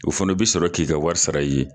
O fana bi sɔrɔ k'i ka wari sara i ye.